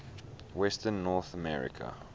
western north america